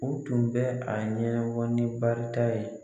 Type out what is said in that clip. O tun bɛ a ɲɛnabɔ ni barita ye.